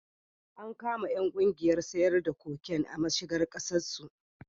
An kama ƴan kungiyar harkar siyar da cocaine a mashigar Kasar su